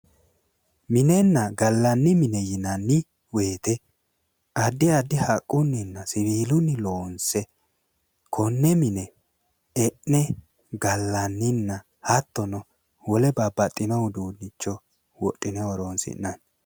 Minenna gallanni mine woyte addi addiha haqquninna siwilunni loonse konne mine e'ne gallaninna hattono wole babbaxino uduunicho wodhine horonsi'nanni